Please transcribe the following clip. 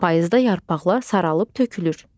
payızda yarpaqlar saralıb tökülür.